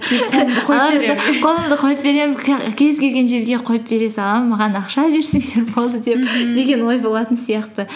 қолымды қойып беремін кез келген жерге қойып бере саламын маған ақша берсеңдер болды мхм деген ой болатын сияқты